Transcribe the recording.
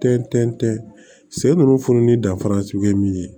Tɛntɛn se ninnu fununeni danfara sugu ye min ye